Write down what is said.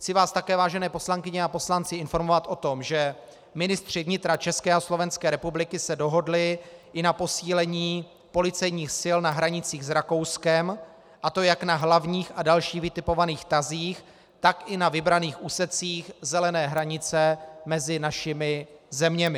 Chci vás také, vážené poslankyně a poslanci, informovat o tom, že ministři vnitra České a Slovenské republiky se dohodli i na posílení policejních sil na hranicích s Rakouskem, a to jak na hlavních a dalších vytipovaných tazích, tak i na vybraných úsecích zelené hranice mezi našimi zeměmi.